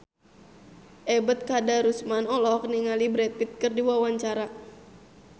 Ebet Kadarusman olohok ningali Brad Pitt keur diwawancara